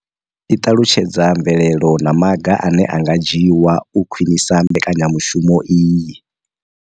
I ṱalutshedza mvelelo na maga ane a nga dzhiwa u khwinisa mbekanyamushumo iyi.